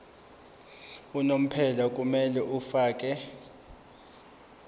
unomphela kumele afakele